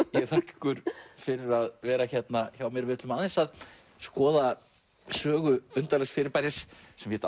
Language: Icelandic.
þakka ykkur fyrir að vera hérna hjá mér við ætlum aðeins að skoða sögu undarlegs fyrirbæris sem hét